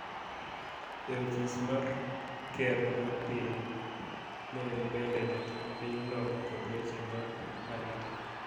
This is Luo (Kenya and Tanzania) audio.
e ofis mar ker mar piny, ne en bende jatend pinyno kod weche mag arita.